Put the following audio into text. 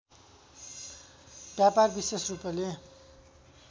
व्यापार विशेष रूपले